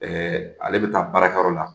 Ɛɛ ale bɛ taa baarakɛyɔrɔ la